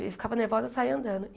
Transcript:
E ficava nervosa, saía andando.